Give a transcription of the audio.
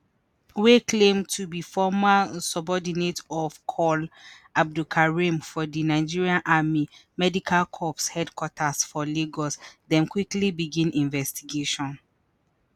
wey claim to be former subordinate of col. abdulkareem for di nigerian army medical corps headquarters for lagos dem quickly begin investigation.